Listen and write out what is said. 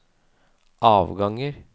avganger